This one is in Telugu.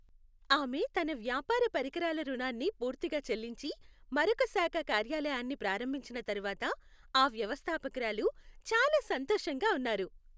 ఆమె తన వ్యాపార పరికరాల రుణాన్ని పూర్తిగా చెల్లించి, మరొక శాఖ కార్యాలయాన్ని ప్రారంభించిన తర్వాత ఆ వ్యవస్థాపకురాలు చాలా సంతోషంగా ఉన్నారు.